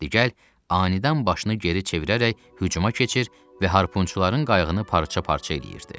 Di gəl, anidən başını geri çevirərək hücuma keçir və harpunçuların qayığını parça-parça eləyirdi.